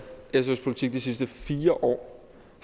sfs politik de sidste fire år